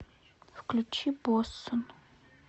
включи боссон